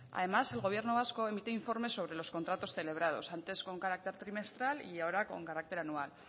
además el gobierno vasco emite informes sobre los contratos celebrados antes con carácter trimestral y ahora con carácter anual